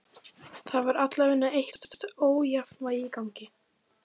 Það var allavega eitthvert ójafnvægi í gangi.